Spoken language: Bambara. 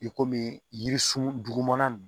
I komi jirisun dugumana in